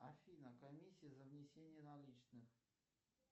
афина комиссия за внесение наличных